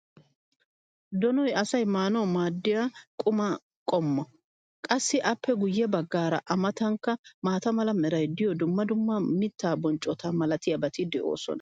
Donoy asay maanawu maadiya qumaa qommo. qassi appe guye bagaara a matankka maata mala meray diyo dumma dumma mitaa bonccota malatiyaabati de'oosona.